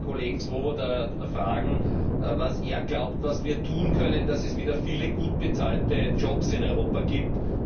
Ich möchte den Kollegen Swoboda fragen, was er glaubt, was wir tun können, damit es wieder viele gut bezahlte Jobs in Europa gibt.